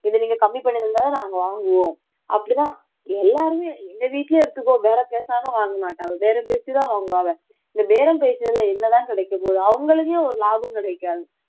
இதை நீங்க கம்மி பண்ணிருந்தாதான் நாங்க வாங்குவோம் அப்படிதான் எல்லாருமே எங்க வீட்லயே எடுத்துக்கோ பேரம் பேசாம வாங்க மாட்டாங்க பேரம் பேசி தான் வாங்குவாங்க இந்த பேரம் பேசியதுல என்னதான் கிடைக்கப் போகுது அவங்களுக்கே ஒரு லாபம் கிடைக்காது